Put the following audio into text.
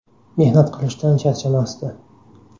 Mehnat qilishdan charchamasdi.